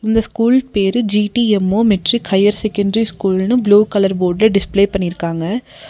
இந்த ஸ்கூல் பேரு G T M O matric higher secondary ஸ்கூல்னு ப்ளூ கலர் போர்டுல டிஸ்பிலே பண்ணிருக்காங்க.